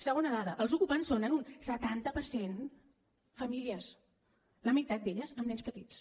segona dada els ocupants són en un setanta per cent famílies la meitat d’elles amb nens petits